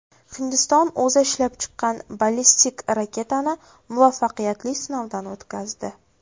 Hindiston o‘zi ishlab chiqqan ballistik raketani muvaffaqiyatli sinovdan o‘tkazdi.